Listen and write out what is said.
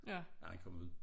At han kom ud